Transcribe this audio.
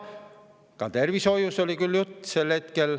Sel hetkel oli küll juttu tervishoiust.